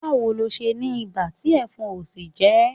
Báwo ni ò ṣe ní ibà tí ẹ̀fọn ò sì jẹ ẹ́?